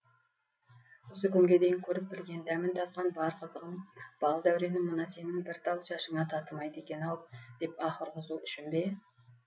осы күнге дейін көріп білген дәмін татқан бар қызығым бал дәуренім мына сенің бір тал шашыңа татымайды екен ау деп аһ ұрғызу үшін бе